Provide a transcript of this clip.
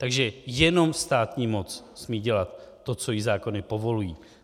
Takže jenom státní moc smí dělat to, co jí zákony povolují.